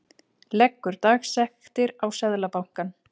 Leggur dagsektir á Seðlabankann